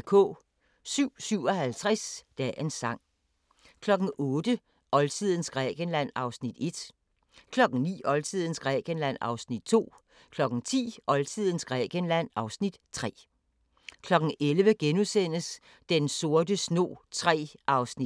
07:57: Dagens sang 08:00: Oldtidens Grækenland (Afs. 1) 09:00: Oldtidens Grækenland (Afs. 2) 10:00: Oldtidens Grækenland (Afs. 3) 11:00: Den sorte snog III (1:6)*